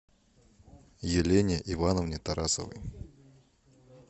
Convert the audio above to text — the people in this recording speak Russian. елене ивановне тарасовой